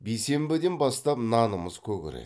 бейсенбіден бастап нанымыз көгереді